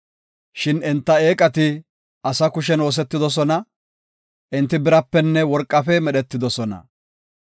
Shin enta eeqati ase kushen oosetidosona; enti birapenne worqafe medhetidosona.